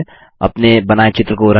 अपने बनाये चित्र को रंगें